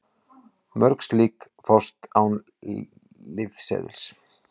Mörg slík fást án lyfseðils.